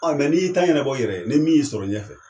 Mɛ n'i y'i ta ɲanabɔ i yɛrɛ ye, ne min y'i sɔrɔ ɲɛfɛ,